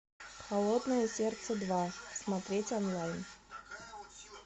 холодное сердце два смотреть онлайн